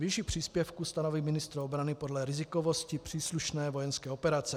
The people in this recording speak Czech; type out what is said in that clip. Výši příspěvku stanoví ministr obrany podle rizikovosti příslušné vojenské operace.